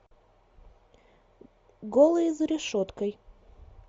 голые за решеткой